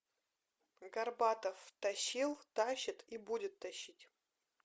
горбатов тащил тащит и будет тащить